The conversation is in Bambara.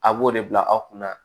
A b'o de bila aw kunna